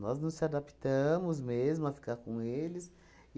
Nós não se adaptamos mesmo a ficar com eles.